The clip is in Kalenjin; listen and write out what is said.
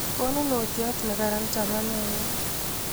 konunotiot ne kararn chamaneng'ung'